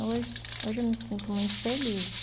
Hoje hoje eu me sinto muito feliz.